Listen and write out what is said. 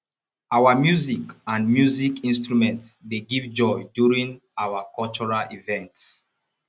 our music and music instrument dey give joy during our cultural events